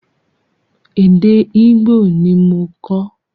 Èdè Ìgbò ni mo kọ́.